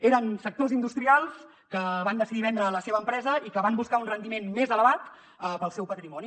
eren sectors industrials que van decidir vendre la seva empresa i que van buscar un rendiment més elevat per al seu patrimoni